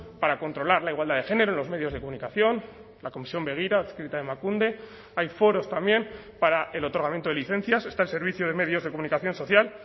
para controlar la igualdad de género en los medios de comunicación la comisión begira adscrita a emakunde hay foros también para el otorgamiento de licencias está el servicio de medios de comunicación social